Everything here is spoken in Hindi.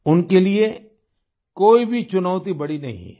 उनके लिए कोई भी चुनौती बड़ी नहीं है